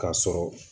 K'a sɔrɔ